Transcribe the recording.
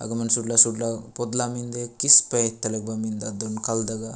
अगमन सुडला सुडला पोडला मिन्दे किस पैथला मिन्दे आंदु कल दगा --